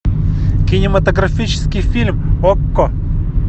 кинематографический фильм окко